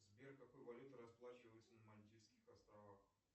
сбер какой валютой расплачиваются на мальдивских островах